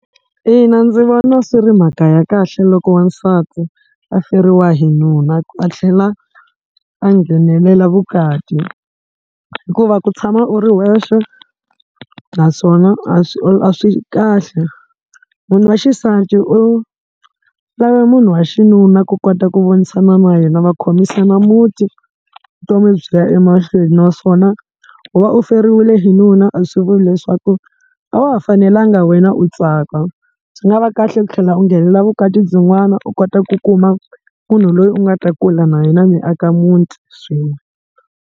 Ina, ndzi vona swi ri mhaka ya kahle loko n'wasati a feriwe hi nuna a tlhela a nghenelela vukati, hikuva ku tshama u ri wexe naswona a swi a swi kahle munhu wa xisati u lava munhu wa xinuna ku kota ku vonisana na yena va khomisana muti vutomi byi ya emahlweni, naswona ku va u feriwile hi nuna a swi vuli leswaku a wa ha fanelanga na wena ku va u tsaka byi nga va kahle ku tlhela u nghenelela vukati byin'wana u kota ku kuma munhu loyi u nga ta kula na yena mi aka muti swin'we.